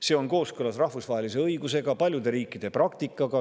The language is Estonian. See on kooskõlas rahvusvahelise õigusega ja paljude riikide praktikaga.